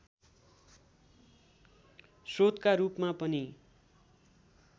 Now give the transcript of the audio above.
स्रोतका रूपमा पनि